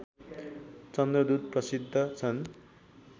चन्द्रदूत प्रसिद्ध छन्